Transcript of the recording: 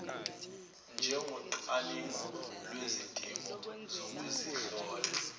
njengocwaningo lwezidingo zokuzihlola